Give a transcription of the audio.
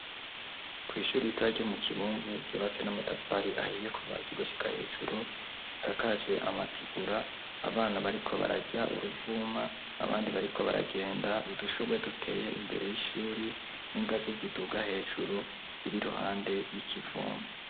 ku ishuri yitora ryo mu kibumbu, ryubatse n'amatafari ahiye kuva hasi gushika hejuru, isakaje amategura, abana bariko bararya uruvuma abandi bariko baragenda, udushubwe duteye imbere y'ishuri, n'ingazi ziduga hejuru ziri iruhande y'ikivumu.